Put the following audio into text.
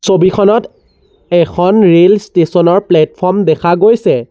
ছবিখনত এখন rail station ৰ প্লেটফৰ্ম দেখা গৈছে।